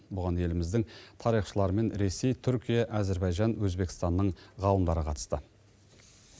бұған еліміздің тарихшылары мен ресей түркия әзербайжан өзбекстанның ғалымдары қатысты